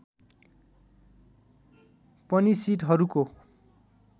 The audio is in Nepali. पनि सिटहरूको